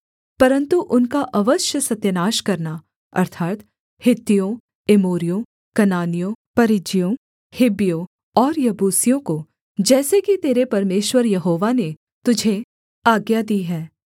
परन्तु उनका अवश्य सत्यानाश करना अर्थात् हित्तियों एमोरियों कनानियों परिज्जियों हिब्बियों और यबूसियों को जैसे कि तेरे परमेश्वर यहोवा ने तुझे आज्ञा दी है